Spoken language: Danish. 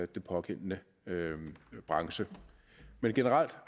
den pågældende branche men generelt